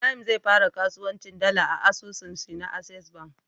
Ibrahim zai fara kasuwancin dala da asusun shi na access bank